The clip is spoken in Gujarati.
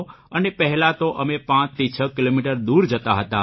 અને પહેલા તો અમે પાંચથી છ કિલોમીટર દૂર જતા હતા